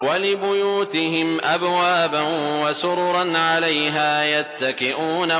وَلِبُيُوتِهِمْ أَبْوَابًا وَسُرُرًا عَلَيْهَا يَتَّكِئُونَ